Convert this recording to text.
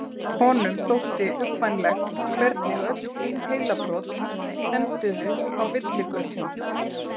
Honum þótti uggvænlegt hvernig öll sín heilabrot enduðu á villigötum.